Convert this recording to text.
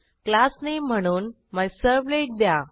class Nameम्हणून मिझर्व्हलेट द्या